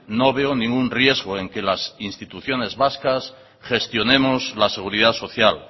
no veo ningún riesgo en que las instituciones vascas gestionemos la seguridad social